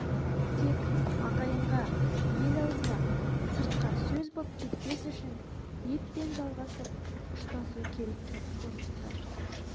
тек ағайынға ел аузына сыртқа сөз боп кетпес үшін еппен жалғасып ұштасу керек деп қорытты